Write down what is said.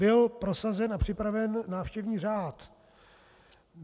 Byl prosazen a připraven návštěvní řád.